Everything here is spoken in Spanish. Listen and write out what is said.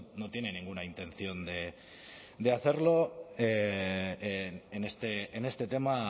no tiene ninguna intención de hacerlo en este tema